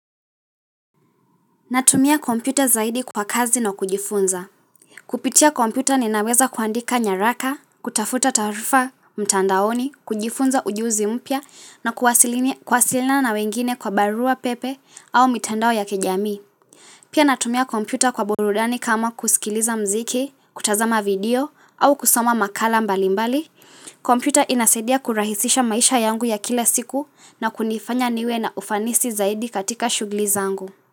Natumia kompyuta zaidi kwa kazi na kujifunza. Kupitia kompyuta ninaweza kuandika nyaraka, kutafuta taarifa mtandaoni, kujifunza ujuzi mpya na kuwasilina na wengine kwa barua pepe au mitandao ya kijamii. Pia natumia kompyuta kwa burudani kama kusikiliza mziki, kutazama video au kusoma makala mbalimbali. Kompyuta inasaidia kurahisisha maisha yangu ya kila siku na kunifanya niwe na ufanisi zaidi katika shughuli za angu.